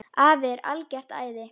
Afi er algert æði.